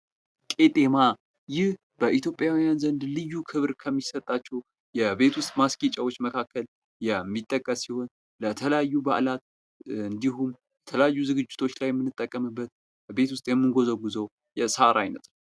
ቄጤማ ይህ በኢትዮጵያዉያን ዘንድ ልዩ ክብር ከሚሰጣቸው የቤት ውስጥ ማስጌጫዎች መካከል የሚጠቀስ ሲሆን ለተለያዩ በአላት እንዲሁም የተለያዩ ዝግጅቶች ላይ የምንጠቀምበት በቤት ውስጥ የምንጓዘጉዘው የሳር አይነት ነው ።